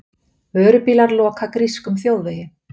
Vörubílar loka grískum þjóðvegi